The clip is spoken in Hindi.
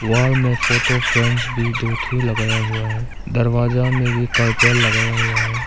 वॉल में फोटो फ्रेम्स भी दो ठो लगाया हुआ है दरवाजा मे भी कार्टेल लगाया हुआ है।